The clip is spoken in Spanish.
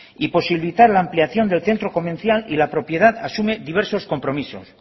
y posibilitar la ampliación del centro comercial y la propiedad asume diversos compromisos